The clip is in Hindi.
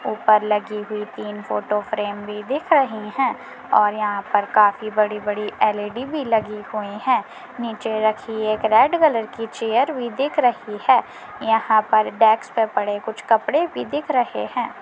ऊपर लगी हुई तीन फोटो फ्रेम भी दिख रही है और यहाँ पर काफी बड़ी-बड़ी एल_इ_डी भी लगी हुई हैं| नीचे रखी एक रेड कलर की चेयर भी दिख रही है यहाँ पर डेस्क पर पड़े कुछ कपड़े भी दिख रहे हैं।